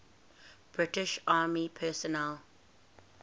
british army personnel